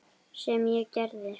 Sem ég gerði.